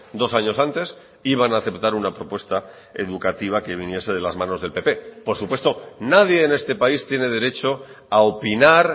dos años antes iban a aceptar una propuesta educativa que viniese de las manos del pp por supuesto nadie en este país tiene derecho a opinar